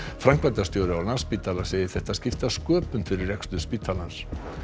framkvæmdastjóri á Landspítala segir þetta skipta sköpum fyrir rekstur spítalans